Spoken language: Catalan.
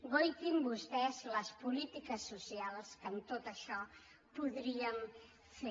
guaitin vostès les polítiques socials que amb tot això podríem fer